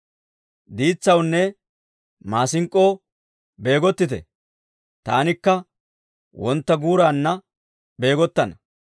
Diitsawunne maasink'k'oo beegottite! Taanikka wontta guuraanna beegottana.